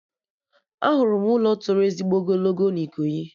Ahụrụ m ụlọ tọrọ ezigbo ogologo na Ikoyi